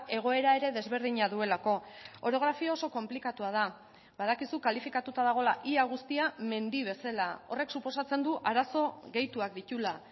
egoera ere desberdina duelako orografia oso konplikatua da badakizu kalifikatuta dagoela ia guztia mendi bezala horrek suposatzen du arazo gehituak dituela